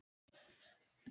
Með fleira í takinu